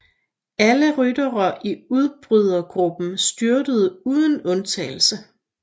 Alle ryttere i udbrydergruppen styrtede uden undtagelse